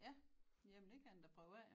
Ja jamen det kan den da prøve af jo